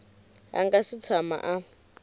a nga si tshama a